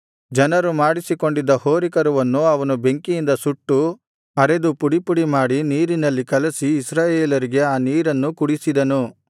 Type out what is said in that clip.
ಜನರು ಮಾಡಿಸಿಕೊಂಡಿದ್ದ ಹೋರಿಕರುವನ್ನು ಅವನು ಬೆಂಕಿಯಿಂದ ಸುಟ್ಟು ಅರೆದು ಪುಡಿ ಪುಡಿ ಮಾಡಿ ನೀರಿನಲ್ಲಿ ಕಲಸಿ ಇಸ್ರಾಯೇಲರಿಗೆ ಆ ನೀರನ್ನು ಕುಡಿಸಿದನು